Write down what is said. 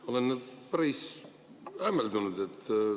Ma olen päris hämmeldunud.